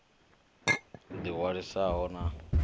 ḓi ṅwalisaho sa izwi hu